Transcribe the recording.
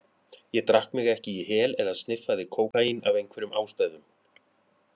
Ég drakk mig ekki í hel eða sniffaði kókaín af einhverjum ástæðum.